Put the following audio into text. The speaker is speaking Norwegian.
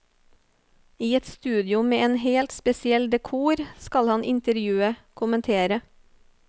I et studio med en helt spesiell dekor skal han intervjue, kommentere.